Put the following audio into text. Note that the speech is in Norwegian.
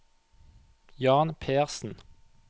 Jan Persen